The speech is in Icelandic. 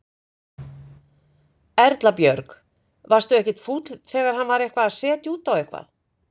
Erla Björg: Varstu ekkert fúll þegar hann var eitthvað að setja út á eitthvað?